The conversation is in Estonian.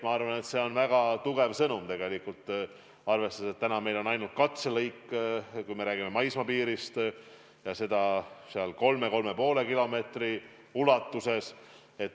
Ma arvan, et see on väga tugev sõnum, arvestades, et praegu meil on ainult katselõik, kui me räägime maismaapiirist, ja seda 3–3,5 kilomeetri ulatuses.